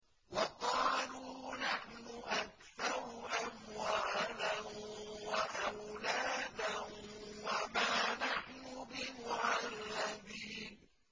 وَقَالُوا نَحْنُ أَكْثَرُ أَمْوَالًا وَأَوْلَادًا وَمَا نَحْنُ بِمُعَذَّبِينَ